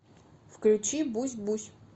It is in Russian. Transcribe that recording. включи бусь бусь